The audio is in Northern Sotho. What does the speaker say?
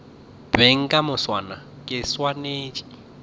beng ka moswane ke swanetše